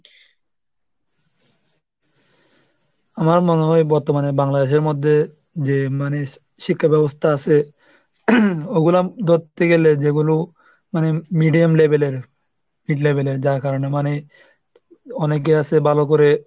আমার মনে হয় বর্তমানে বাংলাদেশের মধ্যে যে মানে শিক্ষা ব্যবস্থা আছে, ওগুলা ধরতে গেলে যেগুলো মানে medium level এর hit level এর যার কারণে মানে অনেকে আছে ভালো করে মানে,